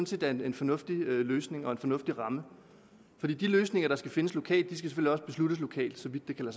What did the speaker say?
set er en en fornuftig løsning og en fornuftig ramme for de løsninger der skal findes lokalt skal selvfølgelig også besluttes lokalt så vidt det kan